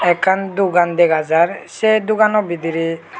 ekkan dogan dega jar se dogano bidirey.